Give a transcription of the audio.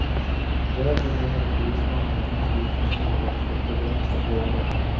Därmed menade polismannen att hans vittnesmål hade fått begränsat värde.